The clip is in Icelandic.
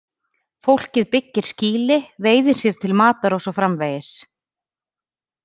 Fólkið byggir skýli, veiðir sér til matar og svo framvegis.